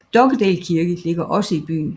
Dokkedal Kirke ligger også i byen